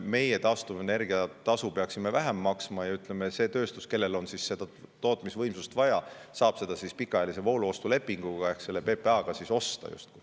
Meie peaksime maksma vähem taastuvenergia tasu ja see tööstus, kellel on seda tootmisvõimsust vaja, saab seda pikaajalise vooluostulepinguga ehk PPA-ga osta.